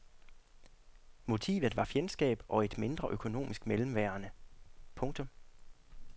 Motivet var fjendskab og et mindre økonomisk mellemværende. punktum